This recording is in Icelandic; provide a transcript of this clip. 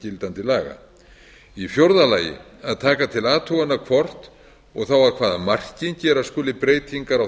gildandi laga í fjórða lagi að taka til athugunar hvort og þá að hvaða marki gera skuli breytingar á